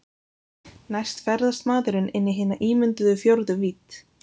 Næst ferðast maðurinn inn í hina ímynduðu fjórðu vídd.